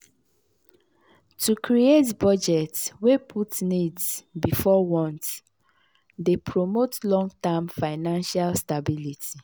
to create budget wey put needs before wants dey promote long-term financial stability.